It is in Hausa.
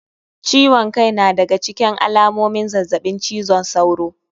Ciwon kai na daga ciken alamomin zazzabin cizon sauro